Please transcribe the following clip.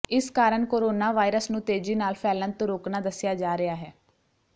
ਇਸ ਕਾਰਨ ਕੋਰੋਨਾਵਾਇਰਸ ਨੂੰ ਤੇਜ਼ੀ ਨਾਲ ਫੈਲਣ ਤੋਂ ਰੋਕਣਾ ਦੱਸਿਆ ਜਾ ਰਿਹਾ ਹੈ